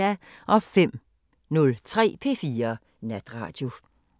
05:03: P4 Natradio